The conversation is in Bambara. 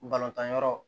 Balontan yɔrɔ